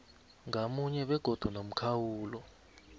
ngamunye begodu nomkhawulo